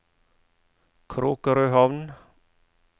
Kråkrøhamn